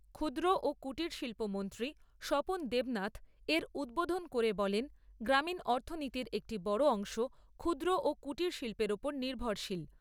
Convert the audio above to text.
ক্ষুদ্র ও কুটির শিল্প মন্ত্রী স্বপন দেবনাথ এর উদ্বোধন করে বলেন, গ্রামীণ অর্থনীতির একটি বড় অংশ ক্ষুদ্র ও কুটির শিল্পের ওপর নির্ভরশীল।